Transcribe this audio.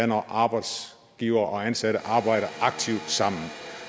når arbejdsgivere og ansatte arbejder aktivt sammen